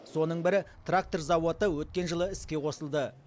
соның бірі трактор зауыты өткен жылы іске қосылды